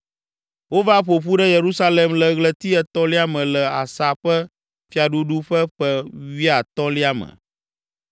Wova ƒo ƒu ɖe Yerusalem le ɣleti etɔ̃lia me le Asa ƒe fiaɖuɖu ƒe ƒe wuiatɔ̃lia me.